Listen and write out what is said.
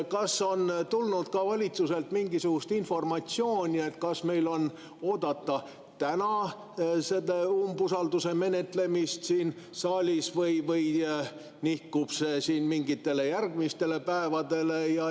Kas on tulnud valitsuselt mingisugust informatsiooni, kas meil on oodata täna seda umbusalduse menetlemist siin saalis või nihkub see mingitele järgmistele päevadele?